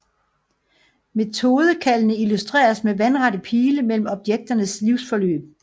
Metodekaldene illustreres med vandrette pile mellem objekternes livsforløb